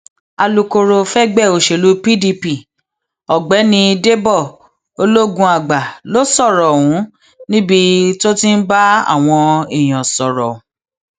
alūkkóró fẹgbẹ òṣèlú pdp ọgbẹni dèbò ológunàgbà ló sọrọ ọhún níbi tó ti ń bá àwọn èèyàn sọrọ